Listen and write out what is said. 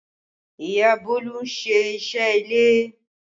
Ìyá Bolu ń ṣe iṣẹ́ ilé